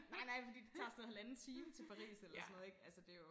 Nej nej fordi det tager sådan noget halvanden time til Paris eller sådan noget ikke altså det jo